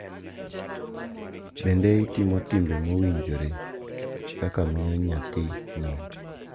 Bende itimo timbe mowinjore kaka miyo nyathi nying.